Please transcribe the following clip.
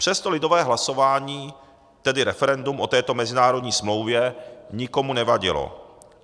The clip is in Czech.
Přesto lidové hlasování, tedy referendum o této mezinárodní smlouvě, nikomu nevadilo.